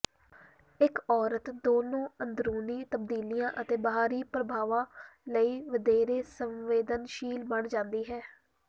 ਇੱਕ ਔਰਤ ਦੋਨੋਂ ਅੰਦਰੂਨੀ ਤਬਦੀਲੀਆਂ ਅਤੇ ਬਾਹਰੀ ਪ੍ਰਭਾਵਾਂ ਲਈ ਵਧੇਰੇ ਸੰਵੇਦਨਸ਼ੀਲ ਬਣ ਜਾਂਦੀ ਹੈ